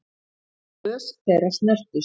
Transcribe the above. Glös þeirra snertust.